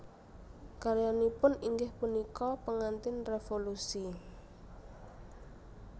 Karyanipun inggih punika Pengantin Revolusi